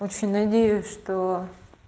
очень надеюсь что